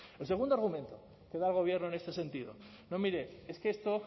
el segundo argumento que da el gobierno en este sentido no mire es que esto